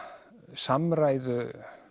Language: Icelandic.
samræðu